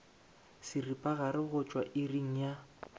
seripagare go tšwa iring ya